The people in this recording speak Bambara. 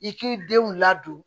I k'i denw ladon